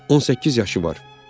18 yaşı var.